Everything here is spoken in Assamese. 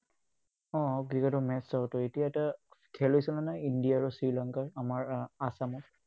উম ক্ৰিকেটৰ match চাঁওতো। এতিয়া এটা খেল হৈছে নহয়, India আৰু Sri Lanka ৰ, আমাৰ Assam ত।